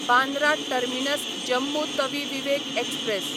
Bandra terminus Jammu Tawi Vivek express